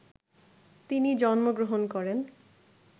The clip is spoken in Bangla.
তিনি জন্ম গ্রহণ করেন